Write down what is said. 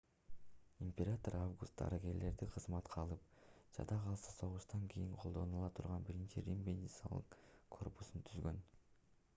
император август дарыгерлерди кызматка алып жада калса согуштан кийин колдонула турган биринчи рим медициналык корпусун түзгөн